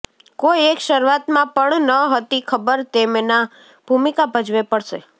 કોઈ એક શરૂઆતમાં પણ ન હતી ખબર તેમના ભૂમિકા ભજવે પડશે